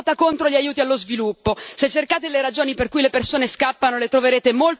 Se cercate le ragioni per cui le persone scappano le troverete molto più vicino a voi di quanto pensiate.